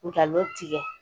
Nkalon tigɛ